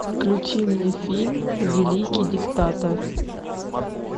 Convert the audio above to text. включи мне фильм великий диктатор